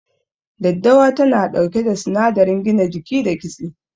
Daddawa tana ɗauke da sinadarin gina jiki da kitse.